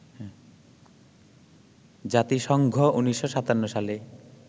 জাতিসংঘ ১৯৫৭ সালে